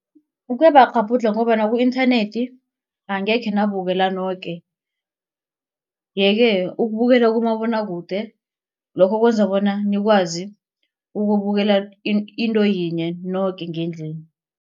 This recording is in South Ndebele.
Kuyabakghabhudlha ngombana ku-internet angekhe nawubukela noke. Yeke ukubukela kumabonwakude lokho kwenza bona nikwazi ukubukela into yinye noke ngendlini.